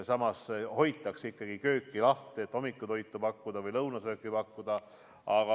Samas hoitakse kööki lahti, et hommikutoitu või lõunasööki pakkuda.